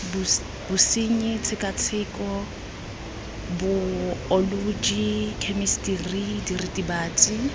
bosenyi tshekatsheko baeoloji khemisitiri diritibatsi